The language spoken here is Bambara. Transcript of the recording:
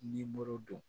Nimoro don